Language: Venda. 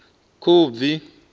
khubvi